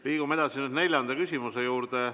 Liigume edasi neljanda küsimuse juurde.